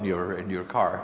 og veru jú